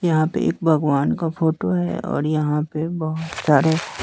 यहां पे एक भगवान का फोटो है और यहां पे बहुत सारे--